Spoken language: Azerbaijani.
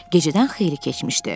Gecədən xeyli keçmişdi.